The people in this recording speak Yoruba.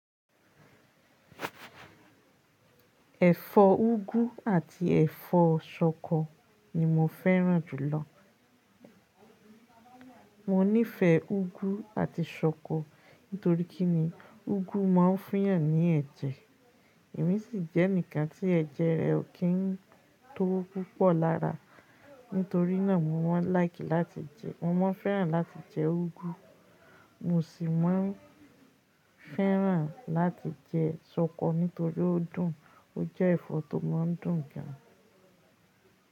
Ẹ̀fọ́ úgú àti ẹ̀fọ́ ṣọkọ ni mo fẹ́ràn jù lọ. Mo nífẹ̀ẹ́ úgú àti ṣọkọ nítorí kí ni úgú máa ń fiyàn ní ẹ̀jẹ̀, èyí sì jẹ́ ǹkan tí ẹ̀jẹ̀ rẹ ò kí ń tó púpọ̀ lára. Nítorí náà mo máa ń like láti jẹ́, mo máa ń fẹ́ràn láti jẹ úgú. Mo sì máa ń fẹ́ràn láti jẹ ṣọkọ nítorí ó dùn, ó jẹ́ ẹ̀fọ́ tó máa ń dùn gan.